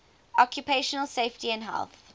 occupational safety and health